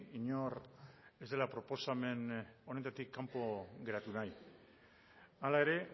inor ez dela proposamen honetatik kanpo geratu nahi hala ere